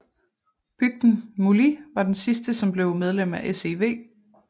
Bygden Múli var den sidste som blev medlem af SEV